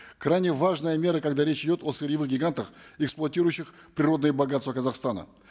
крайне важная мера когда речь идет о сырьевых гигантах эксплуатирующих природные богатства казахстана